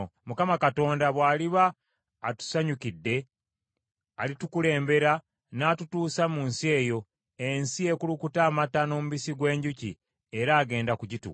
Mukama Katonda bw’aliba atusanyukidde, alitukulembera n’atutuusa mu nsi eyo, ensi ekulukuta amata n’omubisi gw’enjuki, era agenda kugituwa.